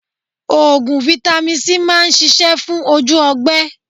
Oògùn Vitamin C máa ń ṣisẹ́ fún ojú ọgbẹ́